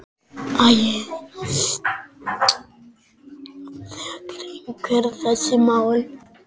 Þekkir einhver þessi mál?